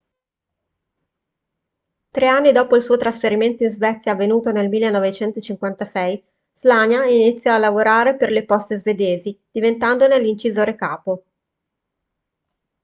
tre anni dopo il suo trasferimento in svezia avvenuto nel 1956 słania iniziò a lavorare per le poste svedesi diventandone l'incisore capo